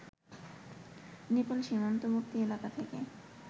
নেপাল সীমান্তবর্তী এলাকা থেকে